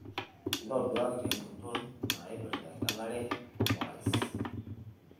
ntoduaki tenguton nnaipirta engelare orais